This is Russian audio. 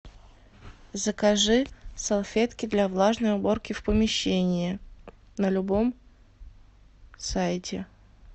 закажи салфетки для влажной уборки в помещении на любом сайте